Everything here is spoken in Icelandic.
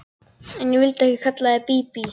En ég vildi ekki kalla þig Bíbí.